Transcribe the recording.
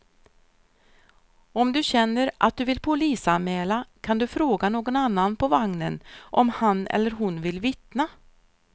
Om du känner att du vill polisanmäla kan du fråga någon annan på vagnen om han eller hon vill vittna.